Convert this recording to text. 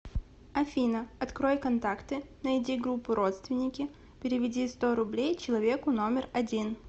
афина открой контакты найди группу родственники переведи сто рублей человеку номер один